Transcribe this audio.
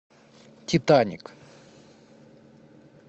титаник